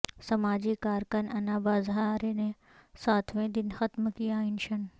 سماجی کارکن انا ہزارے نے ساتویں دن ختم کیا انشن